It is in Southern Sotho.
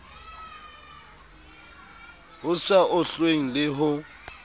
ho sa ohlweng le ho